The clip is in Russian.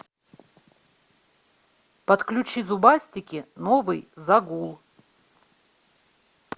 подключи зубастики новый загул